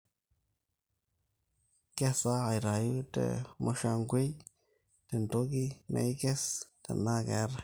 nkesa aitayu te mushangwei tentoki naikes tenaa keetae